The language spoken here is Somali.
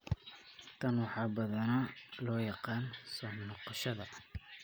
Tan waxaa badanaa loo yaqaan soo noqoshada.